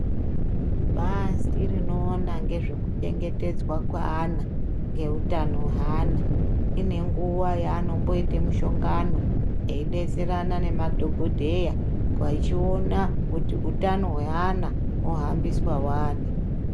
Bazi rinoona ngezvekuchengetedza kweana ngeutano hweana ine nguwa yeanomboite mushongano eidetserana nemadhogodheya kweichiona kuti utano hweana hwohambiswa wani.